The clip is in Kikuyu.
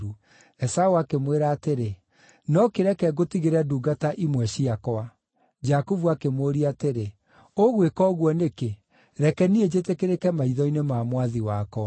Esaũ akĩmwĩra atĩrĩ, “No kĩreke ngũtigĩre ndungata imwe ciakwa.” Jakubu akĩmũũria atĩrĩ, “Ũgwĩka ũguo nĩkĩ? Reke niĩ njĩtĩkĩrĩke maitho-inĩ ma mwathi wakwa.”